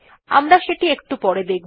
আমরা সেটি একটু পরে দেখব